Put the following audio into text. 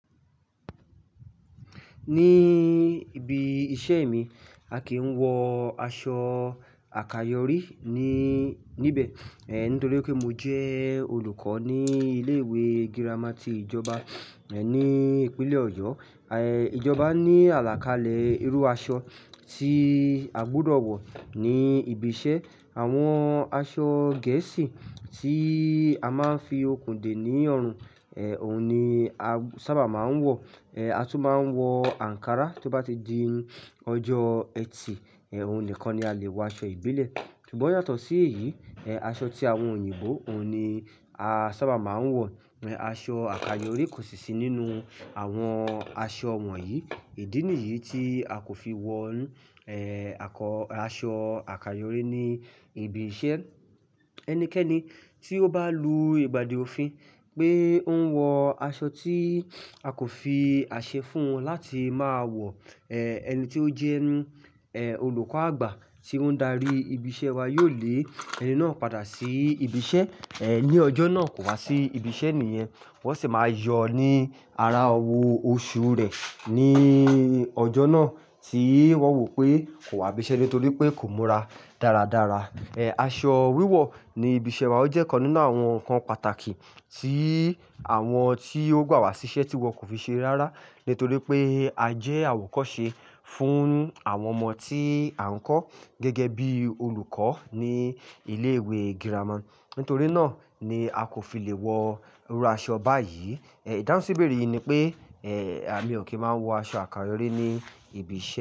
Ní ibi iṣẹ́ mi, a kìí wọ aṣọ àkayọrí ní, níbẹ̀. Eh, nítorí pé mo jẹ́ olùkọ́ ní ilé ìwé girama ti ìjọba, eh, ní ìpínlẹ̀ Ọ̀yọ́. Eh, ìjọba ní àlàkalẹ̀ irú aṣọ tí a gbúdọ̀ wọ̀ ní ibi iṣẹ́. Àwọn aṣọ gẹ̀ẹ́sì tí a máa ń fi okùn dè ní ọrùn, eh, òun ni a sábà máa ń wọ̀. Eh, a tún máa ń wọ àǹkárá tó bá ti di ọjọ́ ẹtì, eh, òun nìkan ni a lè wọ aṣọ ìbílẹ̀. Ṣùgbọ́n yàtọ̀ sí èyí, eh, aṣọ tí àwọn òyìnbó, òun ni a sábà máa ń wọ̀. Aṣọ àkayọrí kò sì sí nínú àwọn aṣọ wọ̀nyí. Ìdí nìyí tí a kò fi wọ̀n, eh, àkọ-- aṣọ àkayọrí ní ibi iṣẹ́. Ẹnikẹ́ni tí ó bá lù ìgbàdí òfin pé ó ń wọ aṣọ tí a kò fi àṣẹ fún wọn láti máa wọ̀, eh, ẹni tí ó jẹ́, eh, olùkọ́ àgbà tí ó ń darí ibi iṣẹ́ wa yóò lé ẹni náà padà sí ibi iṣẹ́, eh, ní ọjọ́ náà kò wá sí ibi iṣẹ́ nìyẹn. Wọ́n sì máa yọ ọ ní ara ọwọ́ oṣù rẹ̀ ní ọjọ́ náà tí wọ́n wò pé kò wá ibi iṣẹ́ nítorí pé kò múra dáradára. Eh, aṣọ wíwọ̀ ní ibi iṣẹ́ wa ó jẹ́ kan nínú àwọn nǹkan pàtàkì tí àwọn tí ó gbà wá síṣẹ́ tí wọn kò fi ṣe rárá. Nítorí pé a jẹ́ àwòkọ́ṣe fún àwọn ọmọ tí à ń kọ́ gẹ́gẹ́ bí olùkọ́ ní ilé ìwé girama. Nítorí náà ni a kò fi lè wọ irú aṣọ báyìí. Eh, ìdáhùnsi ibere yìí ni pé, eh, àmi ò kí máa ń wọ aṣọ àkayọrí ní ibi iṣẹ́.